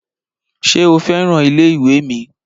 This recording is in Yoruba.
Ṣé o fẹ́ràn ilé ìwé mi?